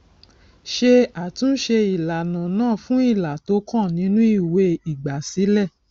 ṣé àtúnṣe ìlànà náà fún ilà tó kàn nínú ìwé ìgbàsílẹ